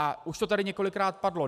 A už to tady několikrát padlo.